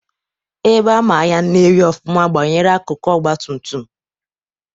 Ebe ama ahịa Nnewi ọfụma banyere akụkụ ọgbatumtum,